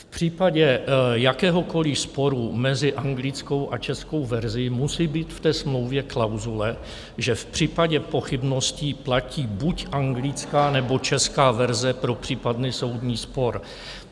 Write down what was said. V případě jakéhokoliv sporu mezi anglickou a českou verzí musí být v té smlouvě klauzule, že v případě pochybností platí buď anglická, nebo česká verze pro případný soudní spor.